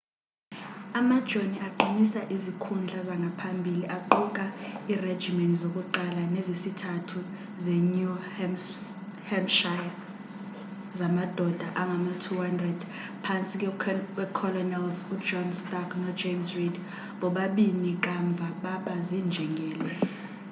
amajoni aqinisa izikhundla zangaphambili aquka iirejimeni zokuqala nezesithathu zenew hampshire zamadoda angama-200 phantsi kweecolonels ujohn stark nojames reed bobabini kamva baba ziinjengele